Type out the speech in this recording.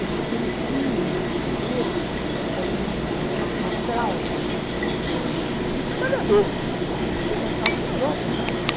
Eles cresciam e cresceram como um astral ãh de trabalhador, que é o caso da Europa, né?